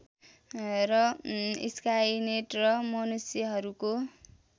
र स्काइनेट र मनुष्यहरूको